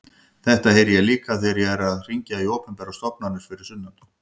Þetta heyri ég líka þegar ég er að hringja í opinberar stofnanir fyrir sunnan.